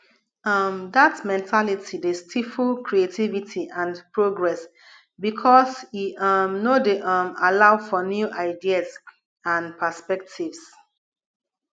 um dat mentality dey stifle creativity and progress because e um no dey um allow for new ideas and perspectives